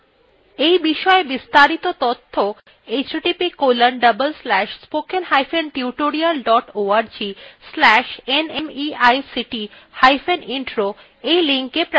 এই বিষয় বিস্তারিত তথ্য